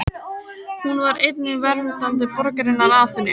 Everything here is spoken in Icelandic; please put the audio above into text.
Hún var einnig verndari borgarinnar Aþenu.